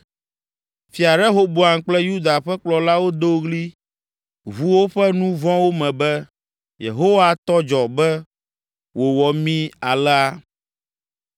Fia Rehoboam kple Yuda ƒe kplɔlawo do ɣli ʋu woƒe nu vɔ̃wo me be, “Yehowa tɔ dzɔ be wòwɔ mí alea!”